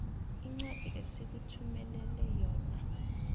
incwadi esikuthumelele yona